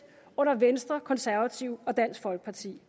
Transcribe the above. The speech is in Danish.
under venstre konservative og dansk folkeparti